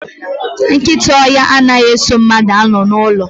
Nkịta ọhịa anaghị eso mmadụ anọ n'ụlọ